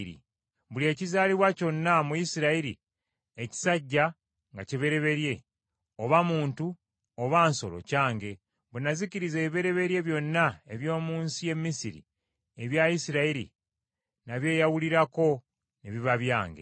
Buli ekizaalibwa kyonna mu Isirayiri ekisajja nga kibereberye, oba muntu oba nsolo, kyange. Bwe nazikiriza ebibereberye byonna eby’omu nsi y’e Misiri, ebya Isirayiri nabyeyawulirako ne biba byange.